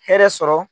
Hɛrɛ sɔrɔ